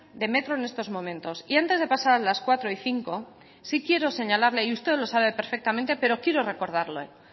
de metro en estos momentos y antes de pasar a las cuatro y cinco sí quiero señalarle y usted lo sabe perfectamente pero quiero recordarle